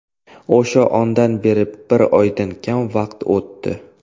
O‘sha ondan beri bir oydan kam vaqt o‘tdi.